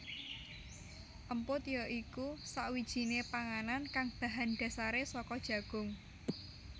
Emput ya iku sakwijiné panganan kang bahan dasaré saka jagung